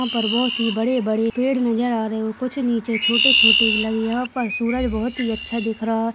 यह पर बहुत ही बड़े बड़े पेड़ नजर आ रहे हे और कुछ निचे छोटे छोटे लगे यह पर सूरज बहुत ही अच्छा दिख रहा है।